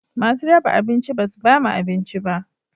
Masu raba abinci basu ba mu abinci ba